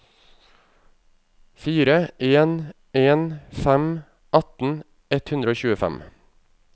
fire en en fem atten ett hundre og tjuefem